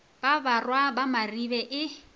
wa barwa ba maribe e